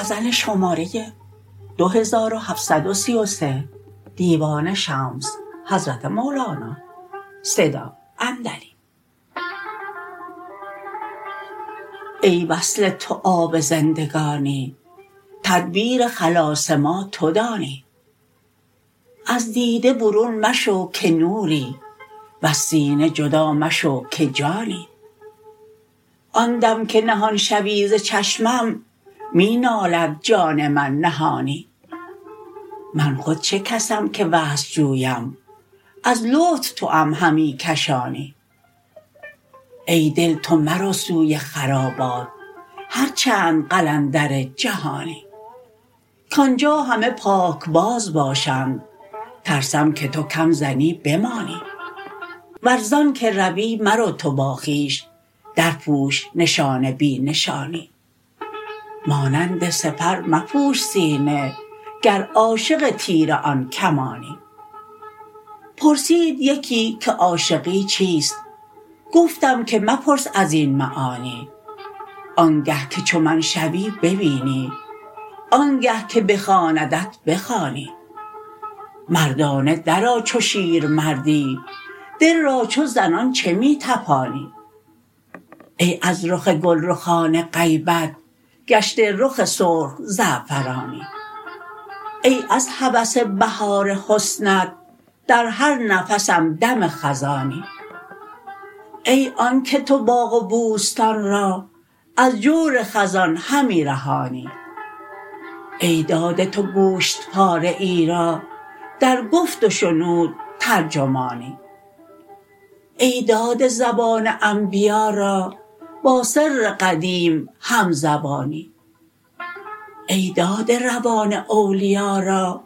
ای وصل تو آب زندگانی تدبیر خلاص ما تو دانی از دیده برون مشو که نوری وز سینه جدا مشو که جانی آن دم که نهان شوی ز چشمم می نالد جان من نهانی من خود چه کسم که وصل جویم از لطف توام همی کشانی ای دل تو مرو سوی خرابات هر چند قلندر جهانی کان جا همه پاکباز باشند ترسم که تو کم زنی بمانی ور ز آنک روی مرو تو با خویش درپوش نشان بی نشانی مانند سپر مپوش سینه گر عاشق تیر آن کمانی پرسید یکی که عاشقی چیست گفتم که مپرس از این معانی آنگه که چو من شوی ببینی آنگه که بخواندت بخوانی مردانه درآ چو شیرمردی دل را چو زنان چه می طپانی ای از رخ گلرخان غیبت گشته رخ سرخ زعفرانی ای از هوس بهار حسنت در هر نفسم دم خزانی ای آنک تو باغ و بوستان را از جور خزان همی رهانی ای داده تو گوشت پاره ای را در گفت و شنود ترجمانی ای داده زبان انبیا را با سر قدیم همزبانی ای داده روان اولیا را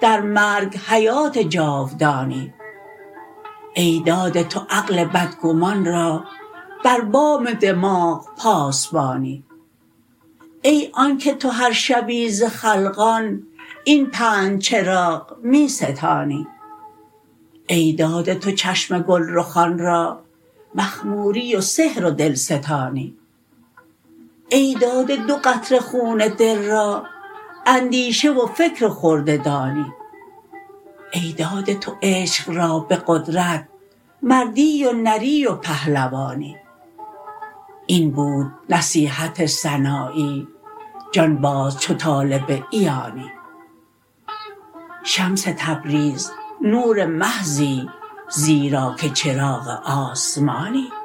در مرگ حیات جاودانی ای داده تو عقل بدگمان را بر بام دماغ پاسبانی ای آنک تو هر شبی ز خلقان این پنج چراغ می ستانی ای داده تو چشم گلرخان را مخموری و سحر و دلستانی ای داده دو قطره خون دل را اندیشه و فکر و خرده دانی ای داده تو عشق را به قدرت مردی و نری و پهلوانی این بود نصیحت سنایی جان باز چو طالب عیانی شمس تبریز نور محضی زیرا که چراغ آسمانی